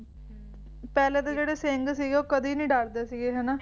ਪਹਿਲਾਂ ਤਾਂ ਜਿਹੜੇ ਸਿੰਘ ਸੀਗੇ ਉਹ ਕਦੀ ਨਹੀਂ ਡਰਦੇ ਸੀਗੇ ਹੈ ਨਾ